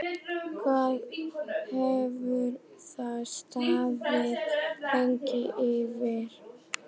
Hvað hefur það staðið lengi yfir?